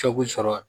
sɔrɔ